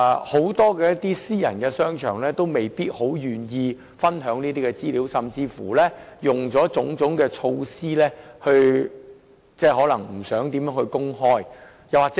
很多私人商場未必願意分享，甚至採取種種措施避免公開這些資料。